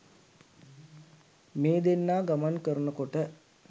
මේ දෙන්නා ගමන් කරන කොට